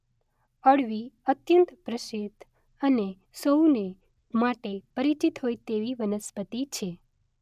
અળવી અત્યંત પ્રસિદ્ધ અને સૌને માટે પરિચિત હોય તેવી વનસ્પતિ છે.